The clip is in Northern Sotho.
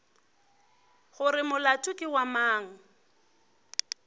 gore molato ke wa mang